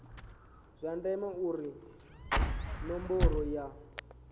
zwa ndeme uri ṋomboro ya